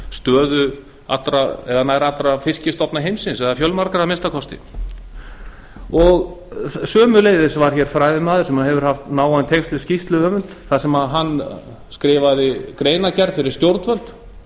stöðu nær allra fiskstofna heims að minnsta kosti fjölmargra sömuleiðis var hér fræðimaður sem hefur haft náin tengsl við skýrsluhöfund þar sem hann skrifaði greinargerð fyrir stjórnvöld